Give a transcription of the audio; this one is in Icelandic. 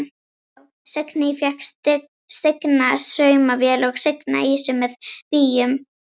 Já: Signý fékk stigna saumavél og signa ýsu með víum.